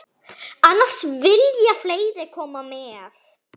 Annars vilja fleiri koma með.